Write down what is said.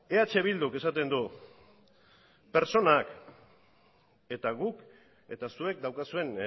eh bilduk esaten du pertsonak guk eta zuek daukazuen